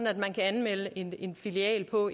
at man kan anmelde en en filial på